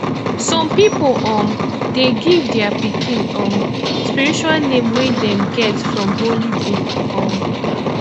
some pipo um de give their pikin um spiritual name wey them get from holy book um